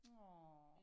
Nåh